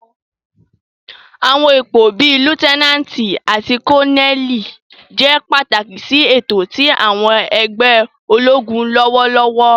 Àwọn ipo bii Liutenanti ati Koneli jẹ pataki si eto ti àwọn ẹgbẹ ologun lọwọlọwọ.